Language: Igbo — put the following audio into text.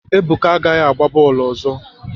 Ebuka agaghị agba bọọlụ ọzọ!